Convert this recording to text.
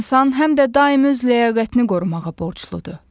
İnsan həm də daim öz ləyaqətini qorumağa borcludur.